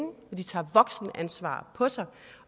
og de tager voksenansvar på sig